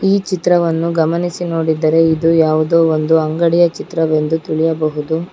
ಈ ಚಿತ್ರವನ್ನು ಗಮನಿಸಿ ನೋಡಿದರೆ ಇದು ಯಾವುದೋ ಒಂದು ಅಂಗಡಿಯ ಚಿತ್ರವೆಂದು ತಿಳಿಯಬಹುದು.